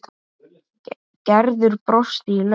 Gerður brosti í laumi.